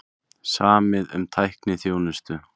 Samið um tækniþjónustu